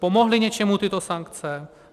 Pomohly něčemu tyto sankce?